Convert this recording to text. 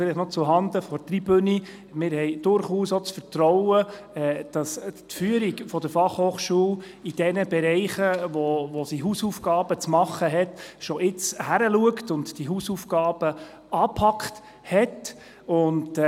Zuhanden der Tribüne: Wir haben durchaus auch das Vertrauen, dass die Führung der BFH in den Bereichen, in welchen Hausaufgaben zu machen sind, bereits jetzt genau hinsieht und die Hausaufgaben angepackt werden.